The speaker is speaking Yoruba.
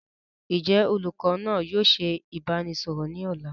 Ǹ jẹ́ olùkọ́ náa ni yìí ó sì dé ìbánisọọ̀rọ̀ ni ọ̀la?